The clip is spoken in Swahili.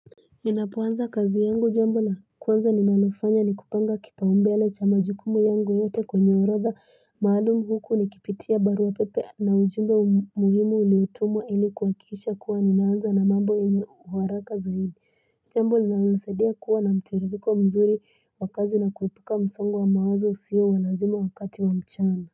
Ninapoanza kazi yangu jambo la. Kwanza ninalofanya nikupanga kipaumbele cha majukumu yangu yote konyoraza. Maalumu huku nikipitia barua pepe na ujumbe muhimu uliotumwa ili kuhakikisha kuwa ninaanza na mambo yini waraka zaidi. Jambo linalonanisadia kuwa na mtiririko mzuri wa kazi na kuepuka msongo wa mawazo siyo wa nazimo wakati wa mchana.